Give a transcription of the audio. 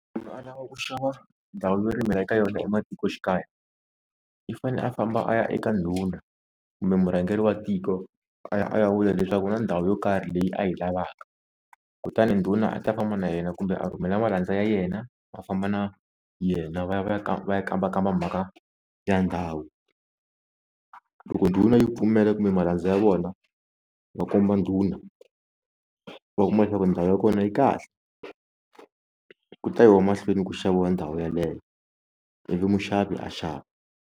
a lava ku xava ndhawu yo rimela eka yona ematikoxikaya i fane a famba a ya eka ndhuna kumbe murhangeri wa tiko a ya a ya vula leswaku kuna na ndhawu yo karhi leyi a yi lavaka, kutani ndhuna a ta famba na yena kumbe a rhumela malandza ya yena va famba na yena va ya va ya va ya kambakamba mhaka ya ndhawu, loko ndhuna yi pfumela kumbe malandza ya vona va komba ndhuna va kuma leswaku ndhawu ya kona yi kahle ku ta yiwa mahlweni ku xaviwa ndhawu yeleyo ivi muxavi a xava.